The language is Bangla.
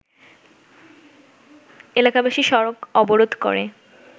এলাকাবাসী সড়ক অবরোধ করে